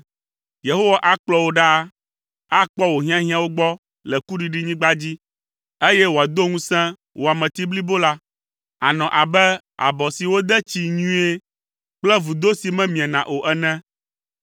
Yehowa akplɔ wò ɖaa. Akpɔ wò hiahiãwo gbɔ le kuɖiɖinyigba dzi, eye wòado ŋusẽ wò ameti blibo la. Ànɔ abe abɔ si wode tsii nyuie kple vudo si memiena o ene.